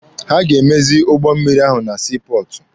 Ha ga-emezi ụgbọ mmịrị ahụ na sii pọọtụ.